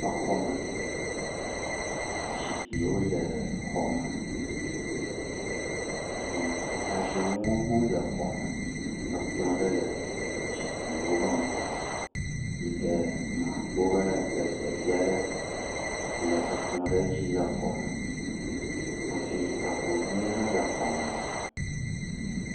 Exɔ me. Zikpuiwo le exɔ me eye atasɔnuwo hã le xɔ me. Ekplɔ ɖe le zikpuiwo ƒe ŋgɔ yike nakpɔ be ezevia ɖe le ekplɔ ɖe dzi le xɔme hafi ahuhɔe ha le exɔ me.